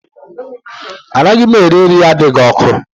Anaghị m eri nri adịghị ọkụ